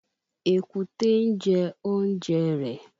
Èkúté ń jẹ oúnjẹ rẹ